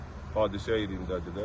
Hadisə yerindədirlər.